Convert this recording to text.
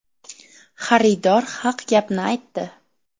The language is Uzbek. Xaridor haq gapni aytdi.